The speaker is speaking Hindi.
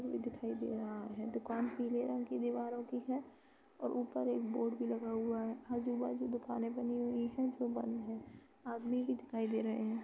कोई दिखाई दे रहा है। दुकान पीले रंग की दीवारों की हैं और ऊपर एक बोर्ड भी लगा हुआ है। आजू बाजू दुकानें बनी हुई हैं जो बंद हैं। आदमी भी दिखाई दे रहे हैं।